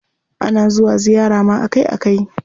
Ana zuwa ziyara ma akai akai.